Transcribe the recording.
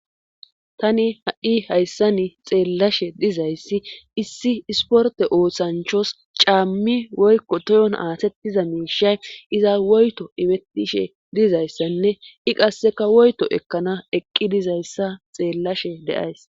tani ha7i hayssani xeellashe dizayssi issi isporte ooththanchos caammi woykko toyon aasettiza miishay iza woyto ifetishe dizayssanne i qasseka woyto ekkana eqqi dizayssa xeellashe de7ays